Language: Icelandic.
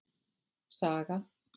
Saga